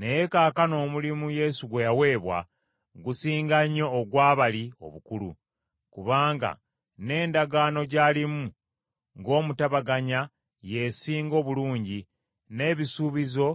Naye kaakano omulimu Yesu gwe yaweebwa, gusinga nnyo ogwa bali obukulu, kubanga n’endagaano gy’alimu ng’omutabaganya y’esinga obulungi, n’ebisuubizo